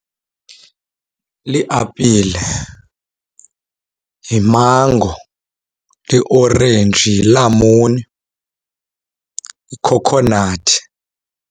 Liapile, yimango, liorenji, yilamuni, yikhokhonathi.